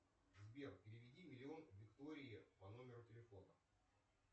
сбер переведи миллион виктории по номеру телефона